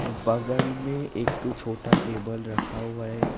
बगल में एक ठो छोटा टेबल रखा हुआ है।